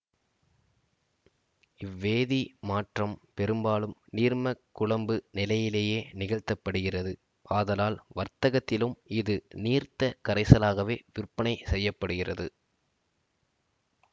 இவ்வேதி மாற்றம் பெரும்பாலும் நீர்மக் குழம்பு நிலையிலேயே நிகழ்த்தப்படுகிறது ஆதலால் வர்த்தகத்திலும் இது நீர்த்த கரைசலாகவே விற்பனை செய்ய படுகிறது